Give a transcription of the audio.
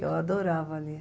Eu adorava ali.